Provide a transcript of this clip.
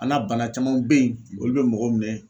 An'a bana camanw be ye olu be mɔgɔw minɛ